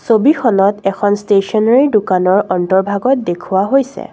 ছবিখনত এখন ষ্টেচনেৰী দোকানৰ অন্তৰ্ভাগত দেখুওৱা হৈছে।